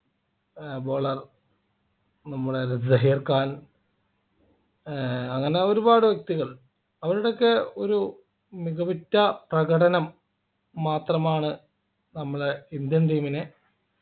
ഏർ bowler നമ്മുടെ സഹീർ ഖാൻ ഏർ അങ്ങനെ ഒരുപാട് വ്യക്തികൾ അവരുടെയൊക്കെ ഒരു മികവുറ്റ പ്രകടനം മാത്രമാണ് നമ്മളെ Indian team നെ